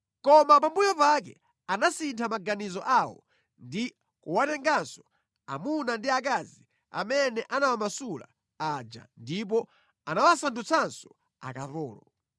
Koma pambuyo pake anasintha maganizo awo ndi kuwatenganso amuna ndi akazi amene anawamasula aja ndipo anawasandutsanso akapolo.